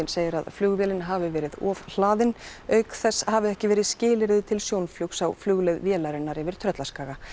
segir að flugvélin hafi verið ofhlaðin auk þess hafi ekki verið skilyrði til sjónflugs á flugleið vélarinnar yfir Tröllaskaga